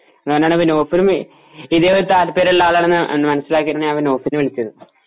അതുകൊണ്ടാണ് പിന്നെ ഇതേ താൽപര്യമുള്ള ആളാണെന്നു മനസിലായതുകൊണ്ടാണ് ഞാൻ നൗഫലിനെ വിളിച്ചത്